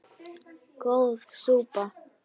Góð súpa